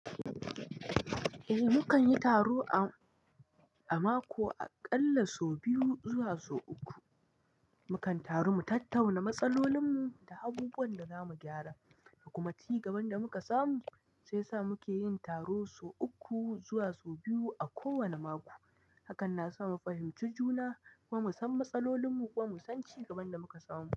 Eh, mu kan yi taro a mako aƙalla sau biyu zuwa sau uku. Mu kan taru mu tattauna matsalolinmu da abubuwan da za mu gyara da kuma ci gaban da muka samu. Sai sa muke yin taro sau uku zuwa sau biyu a kowane mako. Hakan na sa mu fahimci juna kuma mu san matsalolinmu kuma mu san cigaban da muka samu.